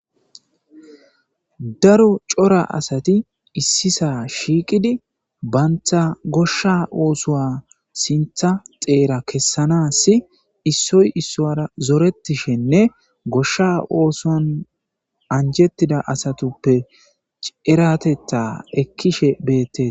Daro cora asati issi sa'a shiiqidi banta gosha oosuwa sintha tera kessanassi issoy issuwara zorettishenne gosha ooson anjettida asatuppe eerateththa ekkishe beettees.